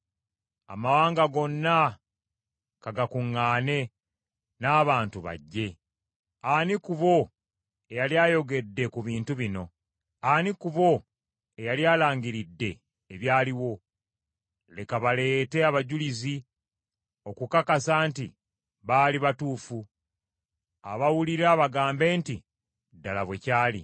Amawanga gonna ka gakuŋŋaane n’abantu bajje. Ani ku bo eyali ayogedde ku bintu bino? Ani ku bo eyali alangiridde ebyaliwo? Leka baleete abajulizi okukakasa nti baali batuufu abawulira bagambe nti, “Ddala bwe kiri.”